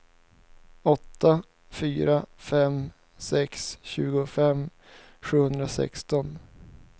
åtta fyra fem sex tjugofem sjuhundrasexton